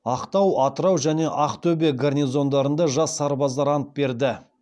ақтау атырау және ақтөбе гарнизондарында жас сарбаздар ант берді